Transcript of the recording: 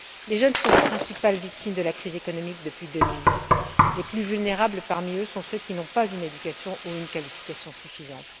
Les jeunes sont les principales victimes de la crise économique depuis 2008. Les plus vulnérables parmi eux sont ceux qui n'ont pas une éducation ou une qualification suffisante.